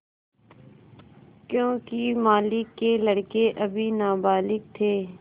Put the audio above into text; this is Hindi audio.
योंकि मालिक के लड़के अभी नाबालिग थे